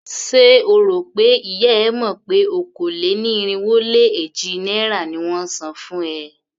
Ṣé o rò pé ìyá e mọ̀ pé okòó-lé-ní-irínwó-lé-èjì náírà ni won ń san fún ẹ?